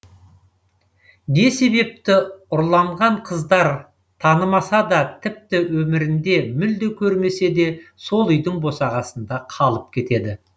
не себепті ұрланған қыздар танымаса да тіпті өмірінде мүлде көрмесе де сол үйдің босағасында қалып кетеді